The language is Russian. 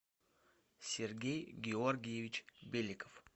сергей георгиевич беликов